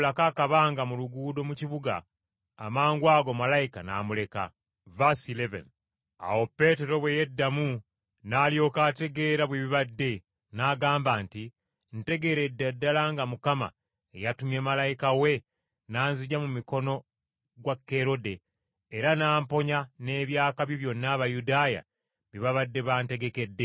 Awo Peetero bwe yeddamu n’alyoka ategeera bwe bibadde, n’agamba nti, “Ntegeeredde ddala nga Mukama yatumye malayika we n’anziggya mu mukono gwa Kerode, era n’amponya n’eby’akabi byonna Abayudaaya bye babadde bantegekedde.”